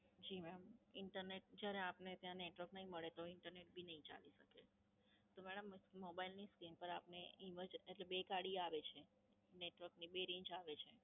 જી madam. Internet જયારે આપને ત્યાં Network નઈ મળે તો Internet બી નહિ ચાલે. તો મેડમ, Mobile ની Screen પર આપને Image એટલે બે કાળી આવે છે? Network ની બે Range આવે છે?